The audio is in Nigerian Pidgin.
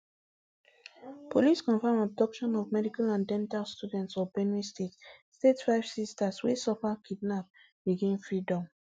police confam abduction of medical and dental students for benue state state five sisters wey suffer kidnap regain freedom